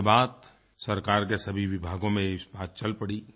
उसके बाद सरकार के सभी विभागों में ये बात चल पड़ी